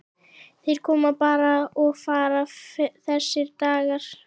Þeir koma bara og fara þessir dagar.